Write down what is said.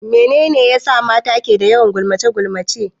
Mene ne ya sa mata ke da yawan gulmace-gulmace?